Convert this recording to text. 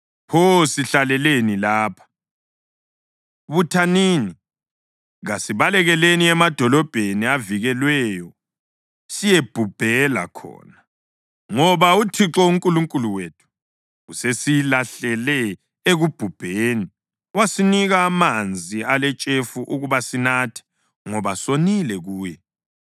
Pho sihlaleleni lapha? Buthanini! Kasibalekeleni emadolobheni avikelweyo siyebhubhela khona! Ngoba uThixo uNkulunkulu wethu usesilahlele ekubhubheni wasinika amanzi aletshefu ukuba sinathe, ngoba sonile kuye.